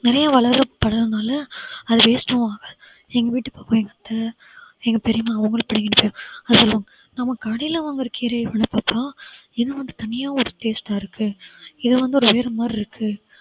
நிறைய அது waste உம் ஆகாது எங்க வீட்டு பக்கம் எங்க அத்தை எங்க பெரியம்மா அவங்களும் பிடிங்கின்னு போயி அதான் சொல்லுவாங்க நம்ம கடையில வாங்கிற கீரையை விட பார்த்தா என்ன ஒண்ணு தனியா ஒரு taste ஆ இருக்கு இது வந்து ஒரு வேற மாதிரி இருக்கு